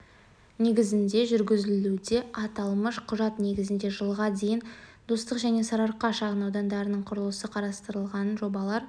негізінде жүргізілуде аталмыш құжат негізінде жылға дейін достық және сарыарқа шағын аудандарының құрылысы қарастырылған жобалар